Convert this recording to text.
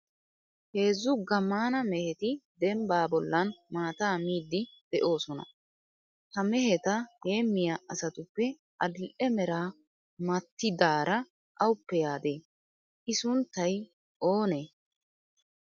Heezzu gammaana mehetti dembbaa bollan maata miiddi beettoosona. Ha meheta heemiya asatuppe adil"e meraa maatidaara awuppe yaade? I sunttay oonee?